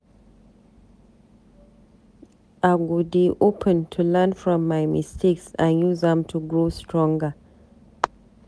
I go dey open to learn from my mistakes and use am to grow stronger.